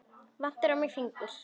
Vantaði á mig fingur?